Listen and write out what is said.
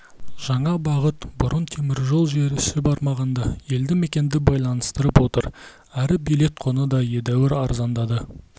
жаңа бағыт бұрын теміржол желісі бармаған елді мекенді байланыстырып отыр әрі билет құны да едәуір арзандады